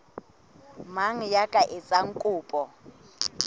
mang ya ka etsang kopo